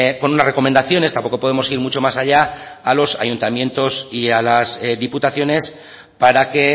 con unas recomendaciones tampoco podemos ir mucho más allá a los ayuntamientos y a las diputaciones para que